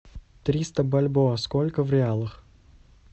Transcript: триста бальбоа сколько в реалах